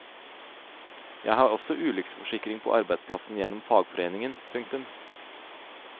Jeg har også ulykkesforsikring på arbeidsplassen gjennom fagforeningen. punktum